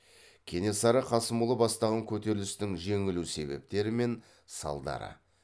кенесары қасымұлы бастаған көтерілістің жеңілу себептері мен салдары